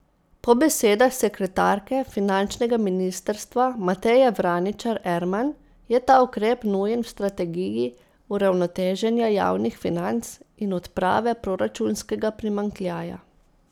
Po besedah sekretarke finančnega ministrstva Mateje Vraničar Erman je ta ukrep nujen v strategiji uravnoteženja javnih financ in odprave proračunskega primanjkljaja.